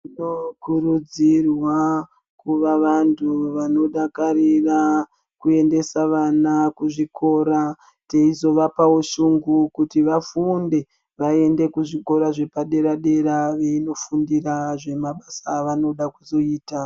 Tinokurudzirwa kuva vantu vanodakarira kuendesa vana kuzvikora teizovapawo shungu kuti vafunde vaende kuzvikora zvepadera dera eiinofundira zvemabasa avanoda kuzoita.